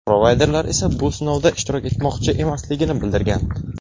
Provayderlar esa bu sinovda ishtirok etmoqchi emasligini bildirgan.